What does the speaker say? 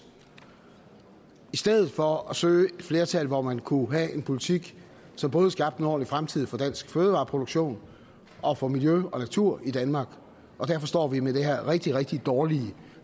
i stedet for at søge et flertal hvor man kunne have en politik som både skabte en ordentlig fremtid for dansk fødevareproduktion og for miljø og natur i danmark og derfor står vi med det her rigtig rigtig dårlige